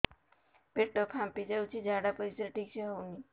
ପେଟ ଫାମ୍ପି ଯାଉଛି ଝାଡ଼ା ପରିସ୍ରା ଠିକ ସେ ହଉନି